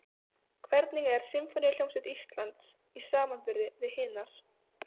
Hvernig er Sinfóníuhljómsveit Íslands í samanburði við hinar?